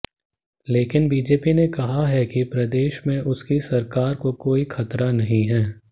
लेकिन बीजेपी ने कहा है कि प्रदेश में उसकी सरकार को कोई खतरा नहीं है